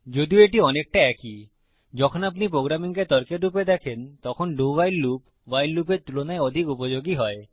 যদিও এটি অনেকটা একই যখন আপনি প্রোগ্রামিংকে তর্কের রূপে দেখেন তখন ডো WHILE লুপ ভাইল লুপের তুলনায় অধিক উপযোগী হয়